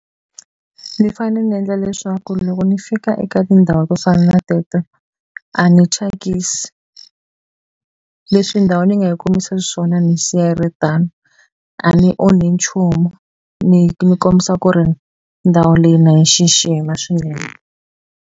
Ni fane ni endla leswaku loko ni fika eka tindhawu to fana na teto a ni thyakisi leswi ndhawu ni nga yi kumisa swona ni yi siya ri tano a ni onhi nchumu ni mi kombisa ku ri ndhawu leyi na yi xixima swinene.